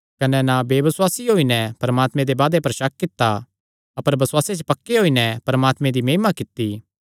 कने ना बेबसुआसी होई नैं परमात्मे दे वादे पर शक कित्ता अपर बसुआसे च पक्के होई नैं परमात्मे दी महिमा कित्ती